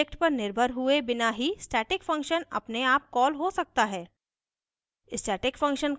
किसी any object पर निर्भर हुए बिना ही static function अपने आप कॉल हो सकता है